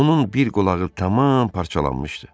Onun bir qulağı tamam parçalanmışdı.